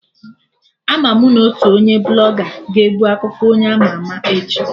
Ama mụ na otu onye Blọga ga-ebu akụkọ onye ama ama echi